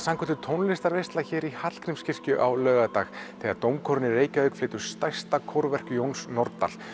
tónlistarveisla hér í Hallgrímskirkju á laugardag þegar dómkórinn í Reykjavík flytur stærsta kórverk Jóns Nordal